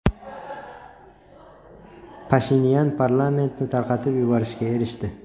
Pashinyan parlamentni tarqatib yuborishga erishdi.